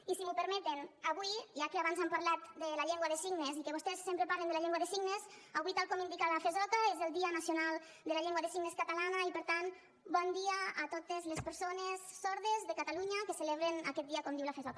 i si m’ho permeten avui ja que abans han parlat de la llengua de signes i que vostès sempre parlen de la llengua de signes avui tal com indica la fesoca és el dia nacional de la llengua de signes catalana i per tant bon dia a totes les persones sordes de catalunya que celebren aquest dia com diu la fesoca